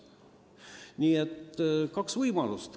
Nii et kaks võimalust.